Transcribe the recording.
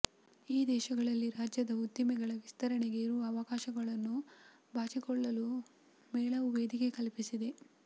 ಈ ದೇಶಗಳಲ್ಲಿ ರಾಜ್ಯದ ಉದ್ದಿಮೆಗಳ ವಿಸ್ತರಣೆಗೆ ಇರುವ ಅವಕಾಶಗಳನ್ನು ಬಾಚಿಕೊಳ್ಳಲೂ ಮೇಳವು ವೇದಿಕೆ ಕಲ್ಪಿಸಿದೆ